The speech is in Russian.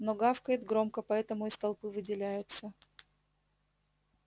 но гавкает громко поэтому из толпы выделяется